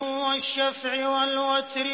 وَالشَّفْعِ وَالْوَتْرِ